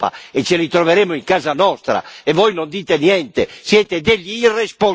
quelli tornano in Europa e ce li troveremo in casa nostra e voi non dite niente.